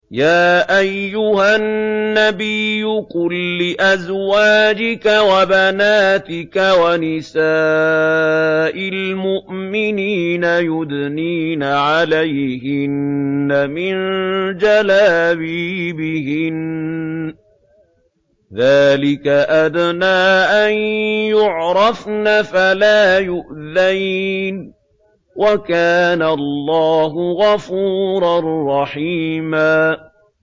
يَا أَيُّهَا النَّبِيُّ قُل لِّأَزْوَاجِكَ وَبَنَاتِكَ وَنِسَاءِ الْمُؤْمِنِينَ يُدْنِينَ عَلَيْهِنَّ مِن جَلَابِيبِهِنَّ ۚ ذَٰلِكَ أَدْنَىٰ أَن يُعْرَفْنَ فَلَا يُؤْذَيْنَ ۗ وَكَانَ اللَّهُ غَفُورًا رَّحِيمًا